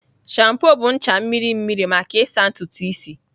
Shampoo bụ ncha mmiri mmiri maka ịsa ntutu isi.